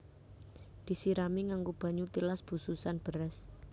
Disirami nganggo banyu tilas bususan beras